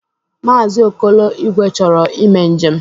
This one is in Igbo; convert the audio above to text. Maazi Okolo Igwe chọrọ ime njem.